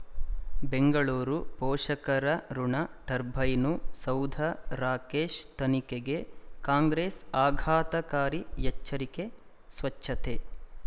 ಬೆಂಗಳೂರು ಪೋಷಕರಋಣ ಟರ್ಬೈನು ಸೌಧ ರಾಕೇಶ್ ತನಿಖೆಗೆ ಕಾಂಗ್ರೆಸ್ ಆಘಾತಕಾರಿ ಎಚ್ಚರಿಕೆ ಸ್ವಚ್ಛತೆ